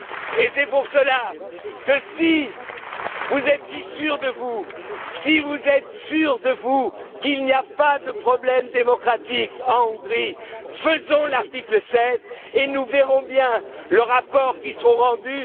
Orbán. Et c'est pour cela que, si vous êtes si sûr de vous, si vous êtes sûr qu'il n'y a pas de problèmes démocratiques en Hongrie, nous devons utiliser l'article 7 et nous verrons bien le rapport qui sera rendu.